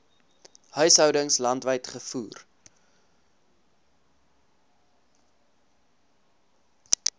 huishoudings landwyd gevoer